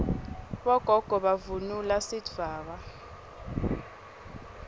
bogogo bavunula sidvwaba